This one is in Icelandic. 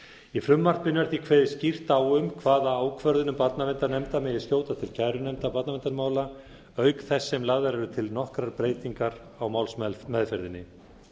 í frumvarpinu er því kveðið skýrt á um hvaða ákvörðunum barnaverndarnefnda megi skjóta til kærunefndar barnaverndarmála auk þess sem lagðar eru til nokkrar breytingar á málsmeðferðinni